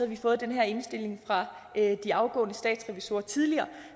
vi fået den her indstilling fra de afgående statsrevisorer tidligere